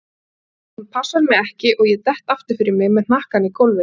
En hún passar mig ekki og ég dett aftur fyrir mig með hnakkann í gólfið.